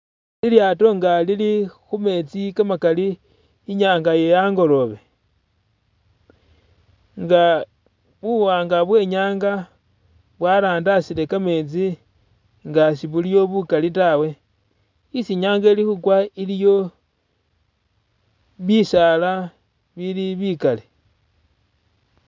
Lilyaato nga lili khumeetsi kamakali, i'nyanga ye a'ngoloobe nga buwaanga bwenyanga bwarandasile kameetsi nga sibuliyo bukali taawe, isi nyanga eli khukwa iliyo bisaala bili bikali